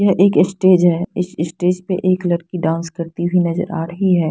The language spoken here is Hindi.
यह एक स्टेज है इस स्टेज पे एक लड़की डांस करती हुई नज़र आ रही है।